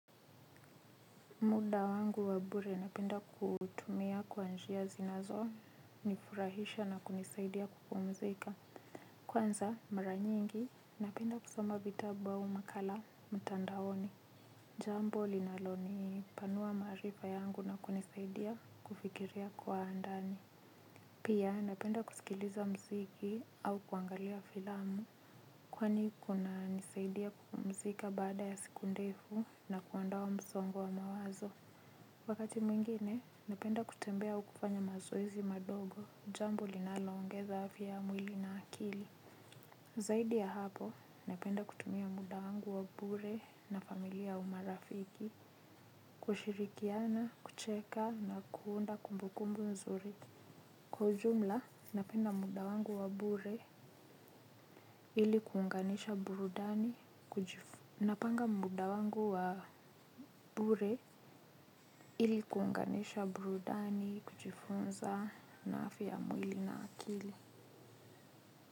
Muda wangu wa bure napenda kutumia kwa njia zinazo nifurahisha na kunisaidia kupumzika. Kwanza mara nyingi napenda kusoma vitabu au makala mtandaoni. Jambo linalonipanua maarifa yangu na kunisaidia kufikiria kwa ndani. Pia napenda kusikiliza mziki au kuangalia filamu. Kwani kunanisaidia kupumzika baada ya siku ndefu na kuondoa msongo wa mawazo. Wakati mwingine, napenda kutembea au kufanya mazoezi madogo, jambo linaloongeza afya ya mwili na akili. Zaidi ya hapo, napenda kutumia muda wangu wa bure na familia au marafiki, kushirikiana, kucheka na kuunda kumbu kumbu nzuri. Kwa ujumla, napenda muda wangu wa bure ili kuunganisha burudani kujifunza na afya ya mwili na akili.